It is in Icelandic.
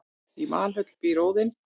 í valhöll býr óðinn